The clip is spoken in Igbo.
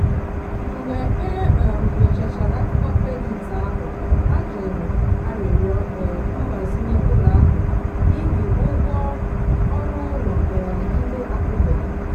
mgbe e um nyochachara akụkọ kredit ahụ a jụrụ arịrịọ um mgbazinye ụlọ ahụ n'ihi ụgwọ ọrụ ụlọ um ndị akwụbeghị.